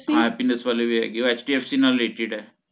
ਹਾਂ happiness ਵਾਲੇ ਵੀ ਹੈਗੇ ਏ ਉਹ HDFC ਨਾਲ related ਹੈ